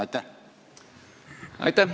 Aitäh!